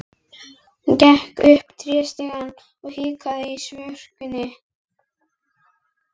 Það er eitthvað annað en í Rangárvallasýslu.